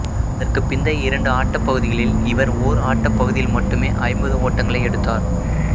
அதற்கு பிந்தைய இரண்டு ஆட்டப் பகுதிகளில் இவர் ஓர் ஆட்டப் பகுதியில் மட்டுமே ஐம்பது ஓட்டங்களை எடுத்தார்